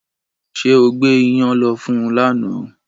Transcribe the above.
Ṣé o gbé ìyàn lọ fún lánàá